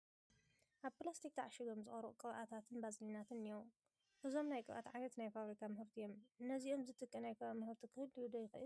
ኣብ ፕላስቲክ ተዓሺጐም ዝቐረቡ ቅብኣታትን ባዝሊናትን እኔዉ፡፡ እዞም ናይ ቅብኣት ዓይነታት ናይ ፋብሪካ ምህርቲ እዮም፡፡ ነዚኦም ዝትክዕ ናይ ከባቢ ምህርቲ ክህሉ ዶ ይኽእል?